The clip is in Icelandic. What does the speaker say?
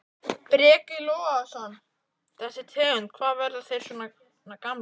Breki Logason: Þessi tegund, hvað, verða þeir svona gamlir?